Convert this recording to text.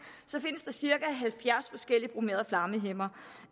findes der cirka halvfjerds forskellige bromerede flammehæmmere